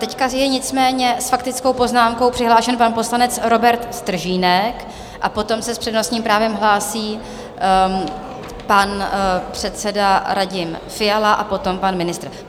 Teď je nicméně s faktickou poznámkou přihlášen pan poslanec Robert Stržínek a potom se s přednostním právem hlásí pan předseda Radim Fiala a potom pan ministr.